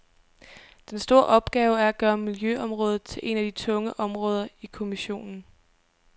Den store opgave er at gøre miljøområdet til et af de tunge områder i kommissionen.